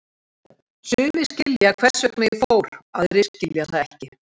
Sumir skilja hvers vegna ég fór, aðrir skilja það ekki.